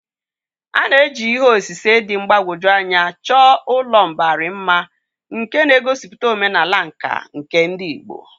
A na-eji ihe osise dị mgbagwoju anya chọọ ụlọ mbari mma nke na-egosipụta omenala nka nke ndị Igbo.